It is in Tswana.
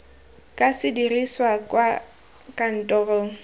ka se dirisiwe kwa kantorong